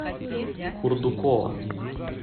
курдукова